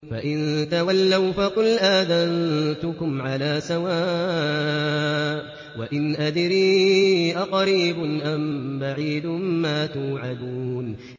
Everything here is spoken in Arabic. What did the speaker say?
فَإِن تَوَلَّوْا فَقُلْ آذَنتُكُمْ عَلَىٰ سَوَاءٍ ۖ وَإِنْ أَدْرِي أَقَرِيبٌ أَم بَعِيدٌ مَّا تُوعَدُونَ